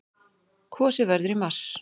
Kosið verður í mars.